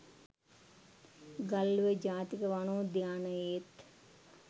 ගල්ඔය ජාතික වනෝද්‍යානයෙත්